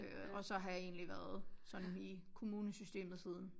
Øh og så har jeg egentlig været sådan i kommunesystemet siden